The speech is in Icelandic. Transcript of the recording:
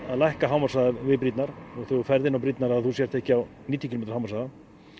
að lækka hámarkshraðann við brýrnar þegar þú ferð inn á brýrnar að þú sért ekki á níutíu kílómetra hámarkshraða